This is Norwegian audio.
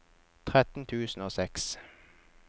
tretten tusen og seks